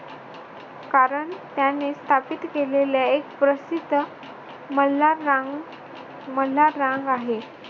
कारण त्याने स्थापित केलेल्या एक प्रसिद्ध मल्हाररा अह मल्हाररांग आहे.